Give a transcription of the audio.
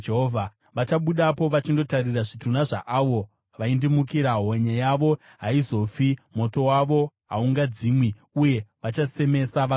“Vachabudapo vachindotarira zvitunha zvaavo vaindimukira; honye yavo haizofi, moto wavo haungadzimwi, uye vachasemesa vanhu vose.”